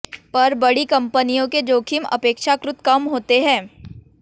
पर बड़ी कंपनियों के जोखिम अपेक्षाकृत कम होते हैं